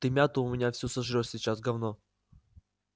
ты мяту у меня всю сожрёшь сейчас говно